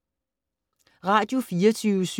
Radio24syv